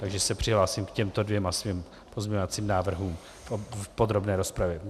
Takže se přihlásím k těmto dvěma svým pozměňovacím návrhům v podrobné rozpravě.